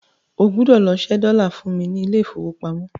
O gbọ́dọ̀ lọ ṣẹ́ dọ́là fún mi ní ilé ìfowópamọ́ lọ́la.